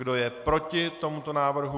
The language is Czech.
Kdo je proti tomuto návrhu?